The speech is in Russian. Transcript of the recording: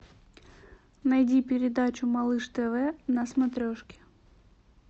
найди передачу малыш тв на смотрешке